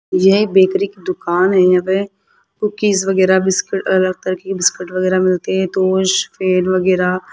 यह बेकरी की दुकान है यहां पे कुकीज वगैरह बिस्किट अलग तरह की बिस्किट वगैरह मिलते हैं वगैरह --